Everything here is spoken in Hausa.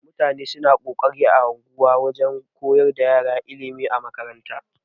Mutane suna kokarin a unguwa wajan koyar da ƴara ilimi a makarantu.